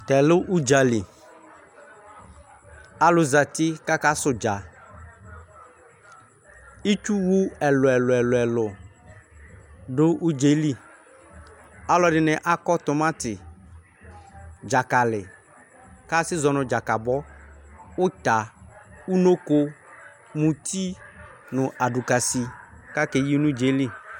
Tɛlɛ udzali alu zati kaka su udza itsu wu ɛlu ɛlu du udzɛli aluɛdini akɔ tomati dzakali kasi zɔ nu dzakabɔ uta unoko muti nu adikasi kakeyi nu udza yɛli